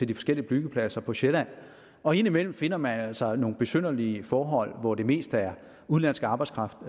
de forskellige byggepladser på sjælland og indimellem finder man altså nogle besynderlige forhold hvor det mest er udenlandsk arbejdskraft